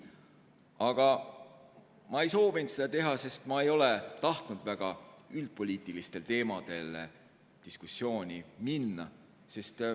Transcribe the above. Aga ma ei soovinud seda teha, sest ma ei ole tahtnud väga üldpoliitilistel teemadel diskussiooni minna.